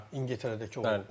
Hə, İngiltərədəki oyun.